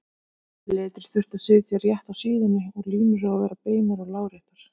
Letrið þurfti að sitja rétt á síðunum og línur að vera beinar og láréttar.